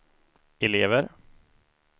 elever